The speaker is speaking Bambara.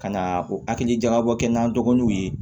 Ka na o hakili jagabɔ kɛ n'an dɔgɔnuw ye